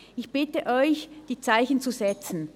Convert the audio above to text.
Ich bitte Sie, die Zeichen zu setzen.